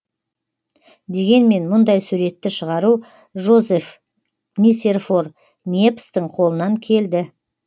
дегенмен мұндай суретті шығару жозеф нисерфор ньепстің қолынан келді